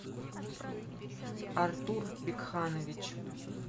артур бикханович